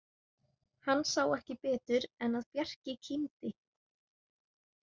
Hann sá ekki betur en að Bjarki kímdi.